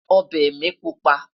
ọbẹ mí pupa